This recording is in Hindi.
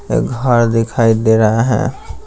एक घर दिखाई दे रहा है।